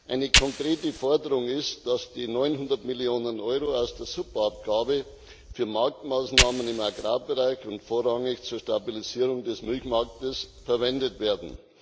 Eine konkrete Forderung ist, dass die 900 Millionen Euro aus der Subabgabe für Marktmaßnahmen im Agrarbereich und vorrangig zur Stabilisierung des Milchmarktes verwendet werden.